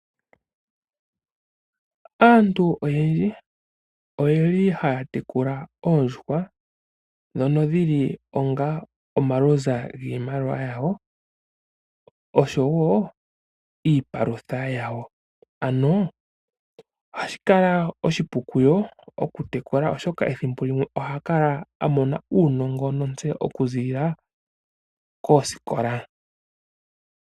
Aantu oyendji oye li haya tekula oondjuhwa, ndhono dhi li onga omalunza giimaliwa yawo, osho wo iipalutha yawo, ano ohashi kala oshipu kuyo okutekula oshoka ethimbo limwe oha kala a mona uunongo nontseyo okuziilila koskola.